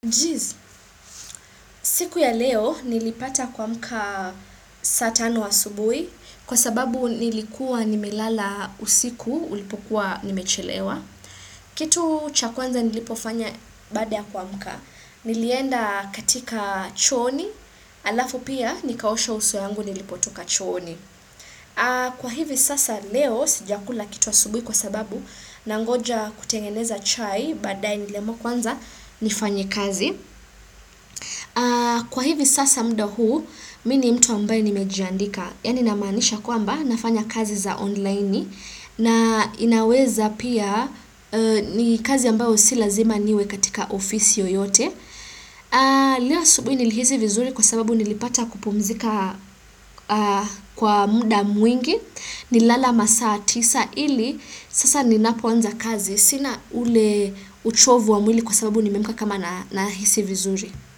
Siku ya leo nilipata kuamka saa tano asubuhi, kwa sababu nilikuwa nimelala usiku, ulipokuwa nimechelewa. Kitu cha kwanza nilipofanya baada ya kuamka, nilienda katika chooni, halafu pia nikaosha uso yangu nilipotoka chooni. Kwa hivi sasa leo sijakula kitu asubuhi kwa sababu nangoja kutengeneza chai badaye nile niliamua kwanza nifanye kazi. Kwa hivi sasa muda huu, mi ni mtu ambaye nimejiandika Yani namaanisha kwamba nafanya kazi za online na inaweza pia ni kazi ambayo si lazima niwe katika ofisi yoyote. Lo asubuhi nilihisi vizuri kwa sababu nilipata kupumzika kwa muda mwingi Nililala masaa tisa ili sasa ninapoanza kazi Sina ule uchovu wa mwili kwa sababu nimemka kama nahisi vizuri.